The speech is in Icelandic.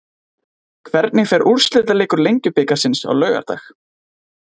Hvernig fer úrslitaleikur Lengjubikarsins á laugardag?